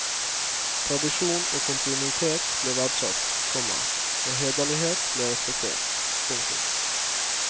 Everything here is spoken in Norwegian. Tradisjon og kontinuitet ble verdsatt, komma og hederlighet ble respektert. punktum